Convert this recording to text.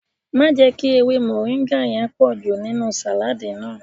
Má jẹ́ kí ewé mọ̀ríńgà yẹn pọ̀jù nínú sàládì náà